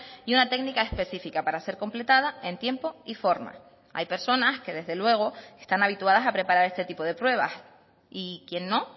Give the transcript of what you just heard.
y una técnica específica para ser completada en tiempo y forma hay personas que desde luego están habituadas a preparar este tipo de pruebas y quien no